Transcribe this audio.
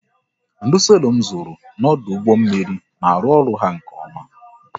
Ndo selọ m zụrụ n'ọdụ ụgbọ mmiri na arụ ọrụ ha nke oma